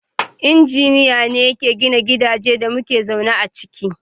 Injiniya ne ke gina gidajen da muke zaune a ciki.